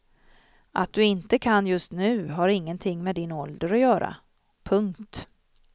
Att du inte kan just nu har ingenting med din ålder att göra. punkt